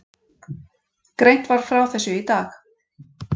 Greint var frá þessu í dag